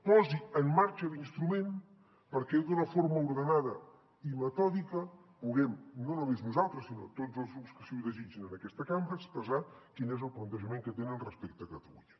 posi en marxa l’instrument perquè d’una forma ordenada i metòdica puguem no només nosaltres sinó tots els grups que així ho desitgen en aquesta cambra expressar quin és el plantejament que tenen respecte a catalunya